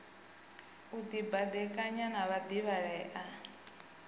u dibadekanya na vhadivhalea e